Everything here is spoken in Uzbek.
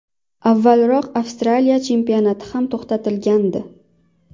Avvalroq Avstraliya chempionati ham to‘xtatilgandi.